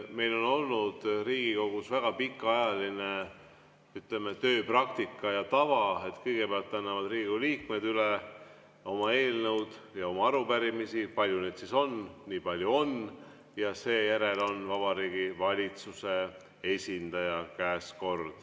Meil on olnud Riigikogus väga pikaajaline tööpraktika ja tava, et kõigepealt annavad Riigikogu liikmed üle oma eelnõud ja arupärimised – palju neid siis on, nii palju on –, ja seejärel on kord Vabariigi Valitsuse esindaja käes.